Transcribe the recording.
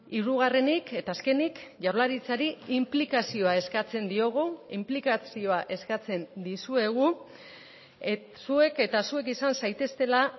hirugarrenik eta azkenik jaurlaritzari inplikazioa eskatzen diogu inplikazioa eskatzen dizuegu zuek eta zuek izan zaiteztela